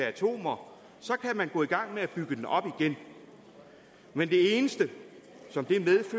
atomer kan man gå i gang med at bygge den op igen men det eneste som